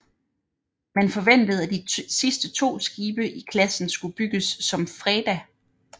Man forventede at de sidste to skibe i klassen skulle bygges som FREDA